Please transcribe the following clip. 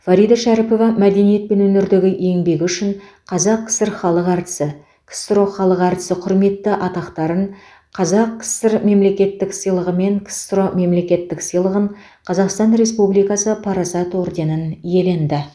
фарида шәріпова мәдениет пен өнердегі еңбегі үшін қазақ кср халық әртісі ксро халық әртісі құрметті атақтарын қаз кср мемлекеттік сыйлығы мен ксро мемлекеттік сыйлығын қазақстан республикасы парасат орденін иеленді